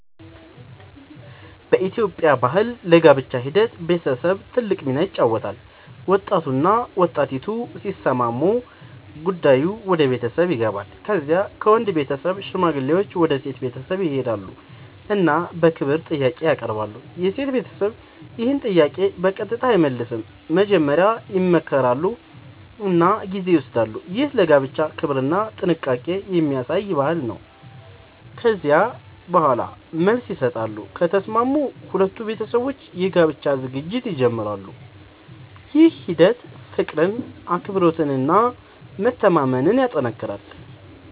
በኢትዮጵያ ባህል ለጋብቻ ሂደት ቤተሰብ ትልቅ ሚና ይጫወታል። ወጣቱና ወጣቲቱ ሲስማሙ ጉዳዩ ወደ ቤተሰብ ይገባል። ከዚያ ከወንድ ቤተሰብ ሽማግሌዎች ወደ ሴት ቤተሰብ ይሄዳሉ እና በክብር ጥያቄ ያቀርባሉ። የሴት ቤተሰብ ይህን ጥያቄ በቀጥታ አይመልስም፤ መጀመሪያ ይመክራሉ እና ጊዜ ይወስዳሉ። ይህ ለጋብቻ ክብርና ጥንቃቄ የሚያሳይ ባህል ነው። ከዚያ በኋላ መልስ ይሰጣሉ፤ ከተስማሙም ሁለቱ ቤተሰቦች የጋብቻ ዝግጅት ይጀምራሉ። ይህ ሂደት ፍቅርን፣ አክብሮትን እና መተማመንን ያጠናክራል።